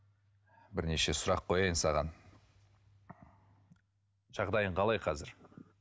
бірнеше сұрақ қояйын саған жағдайың қалай қазір